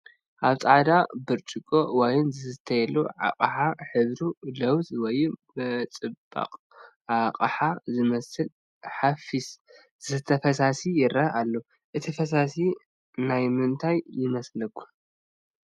ኣብ ፃዕዳ ብጭርቆ ዋይን ዝስተየሉ ኣቕሓ ሕብሩ ሎውዝ ወይ ብፅባፅ ኣባዓኸ ዝመስል ሓፊስ ዝስተ ፈሳሲ ይረአ ኣሎ፡፡ እቲ ፈሳሲ ናይ ምንታይ ይመስለኩም?